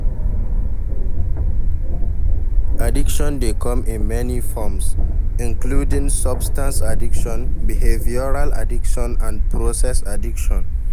Addiction dey come in many forms, including substance addiction, behavioral addiction and process addiction.